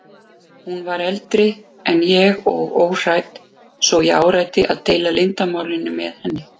Hún var eldri en ég og óhrædd svo ég áræddi að deila leyndarmálinu með henni.